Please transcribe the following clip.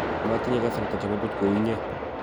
matinye kasarta chebo puch kou innye